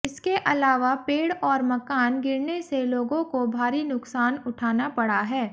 इसके अलावा पेड़ और मकान गिरने से लोगों को भारी नुकसान उठाना पड़ा है